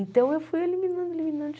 Então, eu fui eliminando, eliminando.